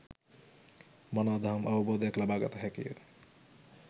මනා දහම් අවබෝධයක් ලබා ගත හැකිය.